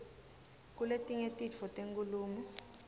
kuletinye titfo tenkhulumo